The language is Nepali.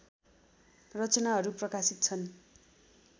रचनाहरू प्रकाशित छन्